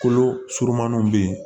Kolo surumaninw bɛ yen